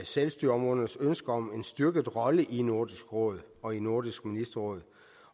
selvstyreområdernes ønske om en styrket rolle i nordisk råd og i nordisk ministerråd